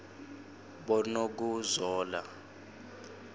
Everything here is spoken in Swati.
bonokuzola